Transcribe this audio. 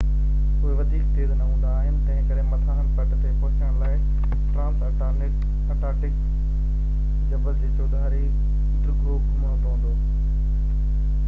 اهي وڌيڪ تيز نہ هوندا آهن تنهنڪري مٿانهن پٽ تي پهچڻ لاءِ ٽرانس انٽارڪٽڪ جبل جي چوڌاري ڊگهو گهمڻو پوندو